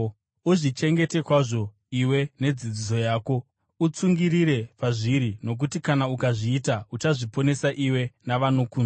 Uzvichengete kwazvo iwe nedzidziso yako. Utsungirire pazviri, nokuti kana ukazviita, uchazviponesa iwe navanokunzwa.